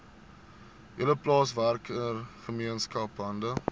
hele plaaswerkergemeenskap hande